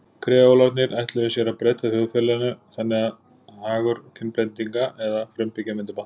Kreólarnir ætluðu sér ekki að breyta þjóðfélaginu þannig að hagur kynblendinga eða frumbyggja myndi batna.